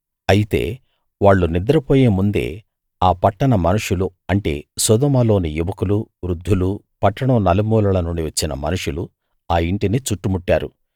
అయితే వాళ్ళు నిద్రపోయే ముందే ఆ పట్టణ మనుషులు అంటే సోదొమలోని యువకులూ వృద్ధులూ పట్టణం నలుమూలల నుండీ వచ్చిన మనుషులు ఆ ఇంటిని చుట్టుముట్టారు